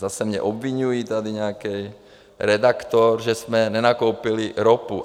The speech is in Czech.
Zase mě obviňuje tady nějaký redaktor, že jsme nenakoupili ropu.